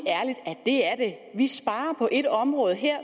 det er det vi sparer på et område her